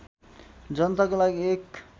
जनताको लागि एक